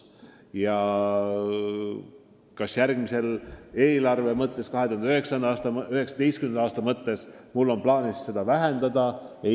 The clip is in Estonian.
Kas järgmise aasta eelarves on mul plaanis seda summat vähendada?